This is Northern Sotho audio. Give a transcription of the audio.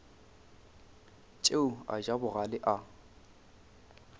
tšeo a ja bogale a